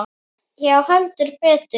Já, heldur betur!